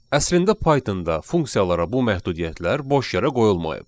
Əslində Python-da funksiyalara bu məhdudiyyətlər boş yerə qoyulmayıb.